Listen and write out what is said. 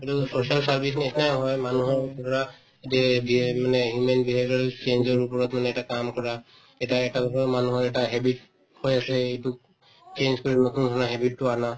এইটোতো social service নিচিনাই হয় মানুহৰ ধৰা এইটোয়ে beha মানে human behavior ৰৰ change ওপৰত মানে এটা কাম কৰা এতিয়া এটা মানুহৰ এটা habit হৈ আছে এইটো change কৰি নতুন ধৰণৰ habit তো আনা